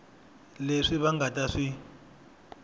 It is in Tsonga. leswi va nga ta swi